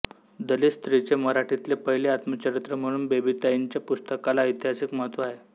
दलित स्त्रीचे मराठीतले पहिले आत्मचरित्र म्हणून बेबीताईंच्या पुस्तकाला ऐतिहासिक महत्त्व आहे